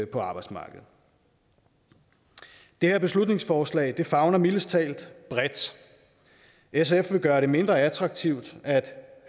på arbejdsmarkedet det her beslutningsforslag favner mildest talt bredt sf vil gøre det mindre attraktivt at